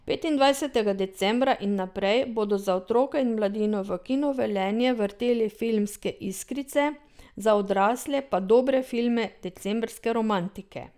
Petindvajsetega decembra in naprej bodo za otroke in mladino v Kinu Velenje vrteli Filmske iskrice, za odrasle pa dobre filme Decembrske romantike.